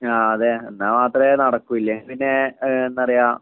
ആ അതെ എന്നാൽ മാത്രമേ നടക്കൂ ഇല്ലെങ്കിൽ പിന്നെ ആ എന്താ പറയുക